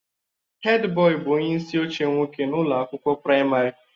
Headboy bụ onye isi oche nwoke na ụlọ akwụkwọ praịmarị